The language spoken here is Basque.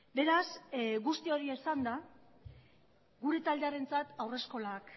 beraz guzti hori esanda gure taldearentzat haurreskolak